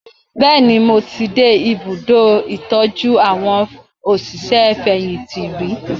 Bẹ́ẹ̀ni, mo ti dé ìbùdó ̣ìtọ́jú àwọn òṣìṣẹ́-fẹ̀yìntì rí